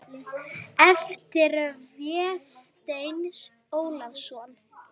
eftir Véstein Ólason